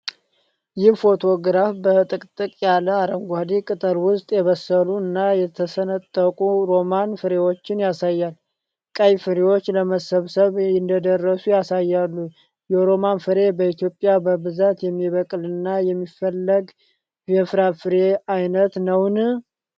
ይህ ፎቶግራፍ በጥቅጥቅ ያለ አረንጓዴ ቅጠል ውስጥ የበሰሉ እና የተሰነጠቁ ሮማን ፍሬዎችን ያሳያል። ቀይ ፍሬዎቹ ለመሰብሰብ እንደደረሱ ያሳያሉ። የሮማን ፍሬ በኢትዮጵያ በብዛት የሚበቅልና የሚፈለግ የፍራፍሬ ዓይነት ነውን?